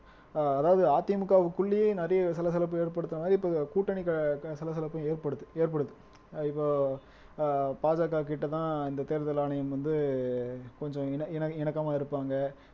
அஹ் அதாவது அதிமுகவுக்குள்ளேயே நிறைய சலசலப்பு ஏற்படுத்துற மாதிரி இப்ப கூட்டணி க சலசலப்பும் ஏற்படுத் ஏற்படுது இப்போ அஹ் பாஜககிட்டதான் இந்த தேர்தல் ஆணையம் வந்து கொஞ்சம் இணக் இணக்கமா இருப்பாங்க